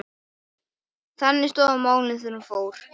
Þannig stóðu málin þegar hún fór.